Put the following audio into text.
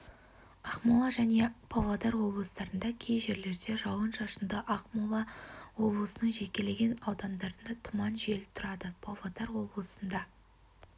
ақмола және павлодар облыстарында кей жерлерде жауын-шашынды ақмола облысының жекелеген аудандарында тұман жел тұрады павлодар облысында